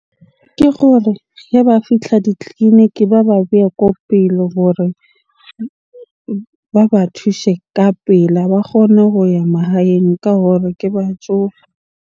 Ke gore hee ba fitlha ditleleniki ba ba behe ko pele hore ba ba thushe ka pela. Ba kgone ho ya mahaeng ka hore ke batjofe.